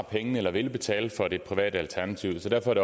vælge et privat alternativ